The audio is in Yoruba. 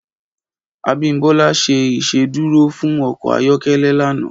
Abiodun ṣé Ìṣédùró fún ọkọ ayọkẹlẹ lànã